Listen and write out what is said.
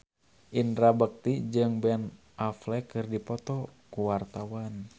Indra Bekti jeung Ben Affleck keur dipoto ku wartawan